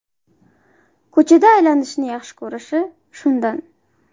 Ko‘cha aylanishni yaxshi ko‘rishi shundan.